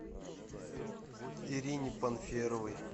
ирине панферовой